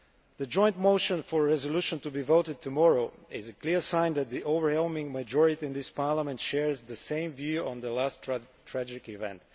The joint motion for a resolution to be voted tomorrow is a clear sign that the overwhelming majority in this Parliament shares the same view on the latest tragic event.